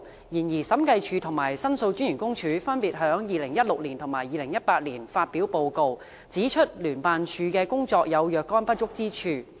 然而，審計署及申訴專員公署分別於2016及2018年發表報告，指出聯辦處的工作有若干不足之處。